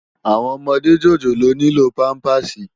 Áwòn òmòdé jójólóò nilò pàmpásí